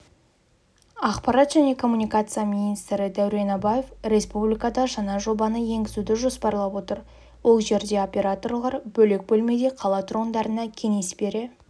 ақпарат және коммуникация министрі дәурен абаев республикада жаңа жобаны енгізуді жоспарлап отыр ол жерде операторлар бөлек бөлмеде қала тұрғындарына кеңес бере